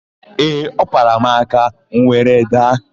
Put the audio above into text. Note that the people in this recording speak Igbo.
Ee, ọ kwara m aka, m were daa.